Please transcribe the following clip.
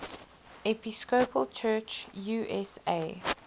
episcopal church usa